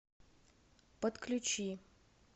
подключи